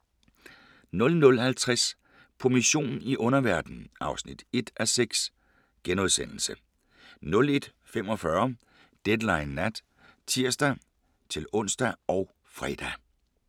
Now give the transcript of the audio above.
00:50: På mission i underverdenen (1:6)* 01:45: Deadline Nat (tir-ons og fre)